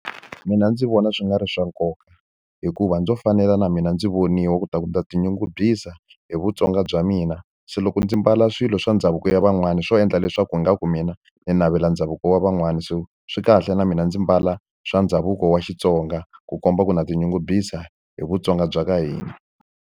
Mina ndzi vona swi nga ri swa nkoka, hikuva ndzo fanela na mina ndzi voniwa leswaku ndza tinyungubyisa hi vuTsonga bya mina. Se loko ndzi ambala swilo swa ndhavuko ya van'wana swo endla leswaku hi nga ku mina ni navela ndhavuko wa van'wani. So swi kahle na mina ndzi mbala swa ndhavuko wa Xitsonga ku komba ku na tinyungubyisa hi vuTsonga bya ka hina.